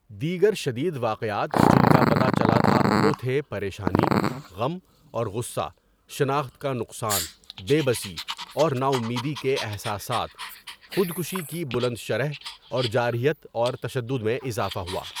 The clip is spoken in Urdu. دیگر شدید واقعات جن کا پتہ چلا تھا وہ تھے پریشانی، غم اور غصہ شناخت کا نقصان، بے بسی اور ناامیدی کے احساسات، خودکشی کی بلند شرح، اور جارحیت اور تشدد میں اضافہ ہوا.